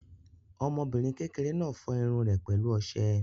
Ọmọbìnrin kékeré náà fọ irun rẹ̀ pẹ̀lú ọṣẹ.